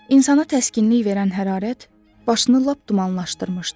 İnsana təskinlik verən hərarət başını lap dumanlaşdırmışdı.